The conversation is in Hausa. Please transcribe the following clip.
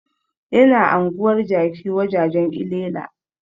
Yana anguwar jaki wajajan llela